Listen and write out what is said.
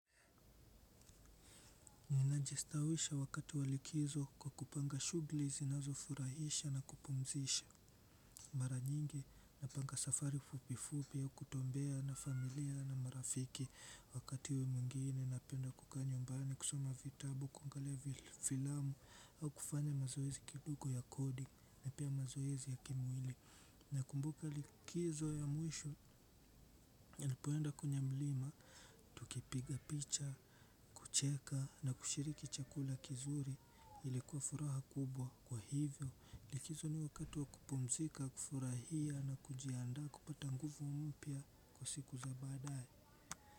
Najistawisha wakati walikizo kwa kupanga shughuli zinazofurahisha na kupumzisha mara nyingi napanga safari fupifupi ya kutembea na familia na marafiki wakati we mwingine napenda kukaa nyumbani, kusoma vitabu, kuangalia filamu au kufanya mazoezi kidugo ya coding na pia mazoezi ya kimwili. Na kumbuka likizo ya mwisho ya nipoenda kwenya mlima, tukipiga picha, kucheka na kushiriki chakula kizuri ilikuwa furaha kubwa kwa hivyo. Likizo ni wakati wa kupumzika, kufurahia na kujiandaa kupata nguvu mpya kwa siku za baadaye.